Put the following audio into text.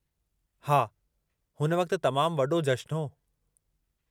हा, हुन वक़्तु तमामु वॾो जश्नु हो।